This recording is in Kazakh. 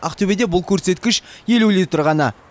ақтөбеде бұл көрсеткіш елу литр ғана